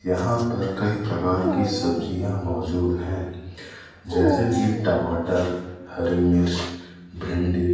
यहां पर कई प्रकार की सब्जियां मौजूद हैं जैसे कि टमाटर हरी मिर्च भिंडी--